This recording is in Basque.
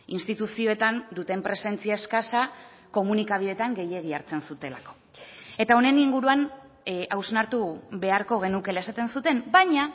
instituzioetan duten presentzia eskasa komunikabideetan gehiegi hartzen zutelako eta honen inguruan hausnartu beharko genukeela esaten zuten baina